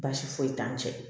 Baasi foyi t'an cɛ